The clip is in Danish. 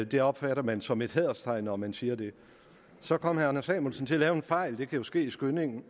det opfatter man som et hæderstegn når man siger det så kom herre anders samuelsen til at lave en fejl det kan jo ske i skyndingen